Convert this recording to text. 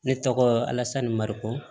Ne tɔgɔ alasani mariko